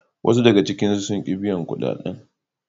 Wasu daga cikinsu sun ki biyan kudaden.